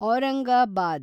Aurangabad